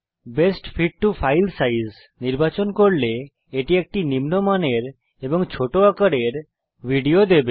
best fit to file size নির্বাচন করলে এটি একটি নিম্নমানের এবং ছোট আকারের ভিডিও দেবে